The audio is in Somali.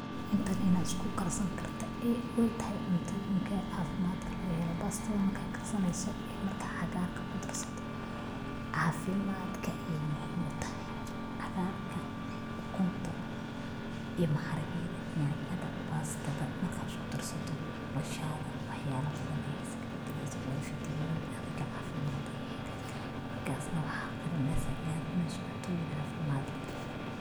Intan inad iskukarsan karta oy taxay cuntoyinka cafimadka xalaxelo, pastadhan marka karsaneyso ee marka caqaarka kudarsato, cafimadka ay muxiim utaxay, caqaarka, ukunta iyo maharageda, nyanyada, pastada marka iskudarsato, noloshada waxa yala badan ayay iskabadaleysa, wa vitamin adhiga cafimad eh, markas nah waxa oganeysa inad cuneyso cuntoyin cafimad leh.